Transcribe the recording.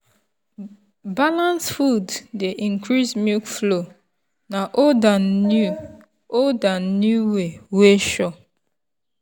balanced food dey increase milk flow na old and new old and new way wey sure.